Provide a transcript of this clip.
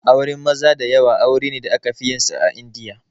Auren maza da yawa aure ne da aka fi yin sa a Indiya